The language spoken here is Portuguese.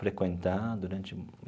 frequentar durante.